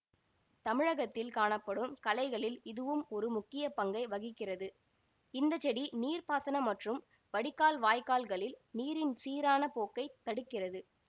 தமிழகத்தில் கானப்படும் களைகளில் இதுவும் ஒரு முக்கியப்பங்கை வகிக்கிறது இந்த செடி நீர்ப்பாசன மற்றும் வடிகால் வாய்க்கால்களில் நீரின் சீரான போக்கை தடுக்கிறது